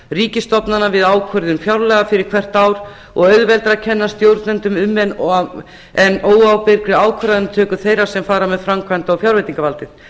ríkisstofnana við ákvörðun fjárlaga fyrir hvert ár og auðveldara að kenna stjórnendum um en óábyrgri ákvörðunartöku þeirra sem fara með framkvæmda og fjárveitingavaldið